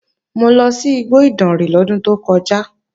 Mo lọ sí igbó Ìdànrè lọ́dún tó kọjá